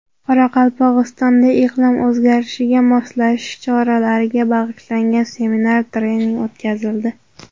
Qoraqalpog‘istonda iqlim o‘zgarishiga moslashish choralariga bag‘ishlangan seminar-trening o‘tkazildi.